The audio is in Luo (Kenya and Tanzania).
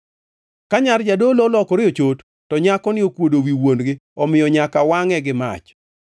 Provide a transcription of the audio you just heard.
“ ‘Ka nyar jadolo olokore ochot, to nyakoni okuodo wi wuon-gi, omiyo nyaka wangʼe gi mach.